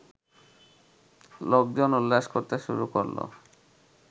লোকজন উল্লাস করতে শুরু করলো